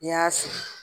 N'i y'a sigi